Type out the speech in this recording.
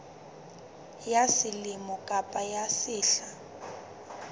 ya selemo kapa ya sehla